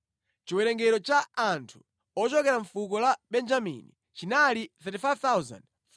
Chiwerengero cha anthu ochokera mʼfuko la Benjamini chinali 35,400.